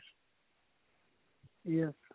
yes